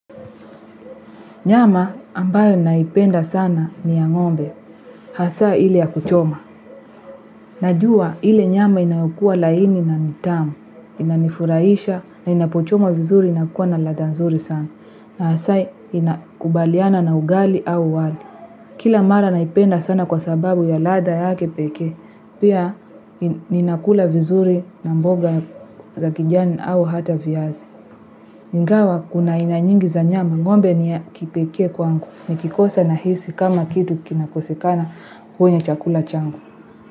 Nyama ambayo naipenda sana ni ya ng'ombe, haswa ile ya kuchoma. Najua ile nyama inayokuwa laini na nitamu, inanifuraisha na inapochoma vizuri inakuwa na ladha nzuri sana. Na haswa inakubaliana na ugali au wali. Kila mara naipenda sana kwa sababu ya ladha ya kipekee, pia ninakula vizuri na mboga za kijani au hata viazi. Ingawa kuna aina nyingi za nyama ng'ombe ni ya kipekee kwangu ni kikosa na hisi kama kitu kinakosekana kwenye chakula changu.